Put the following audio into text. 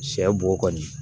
Sɛ bo kɔni